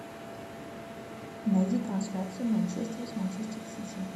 найди трансляцию манчестер с манчестер сити